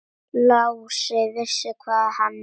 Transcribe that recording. Lási vissi hvað hann vildi.